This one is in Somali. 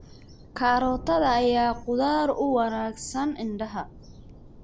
Karootada ayaa khudaar u wanaagsan indhaha.